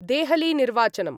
देहलीनिर्वाचनम्